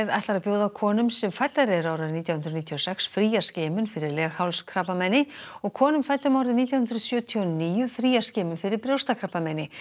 ætlar að bjóða konum sem fæddar eru árið nítján hundruð níutíu og sex fría skimun fyrir leghálskrabbameini og konum fæddum árið nítján hundruð sjötíu og níu fría skimun fyrir brjóstakrabbameini